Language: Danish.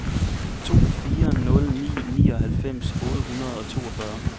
to fire nul ni nioghalvfems otte hundrede og toogfyrre